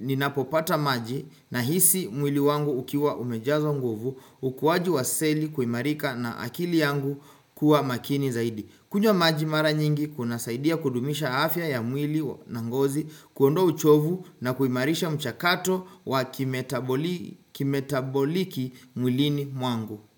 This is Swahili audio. ninapopata maji na hisi mwili wangu ukiwa umejazwa nguvu ukuwaji waseli kuimarika na akili yangu kuwa makini zaidi. Kunywa maji mara nyingi kuna saidia kudumisha afya ya mwili na ngozi kuondoa uchovu na kuimarisha mchakato wa kimetaboliki mwilini mwangu.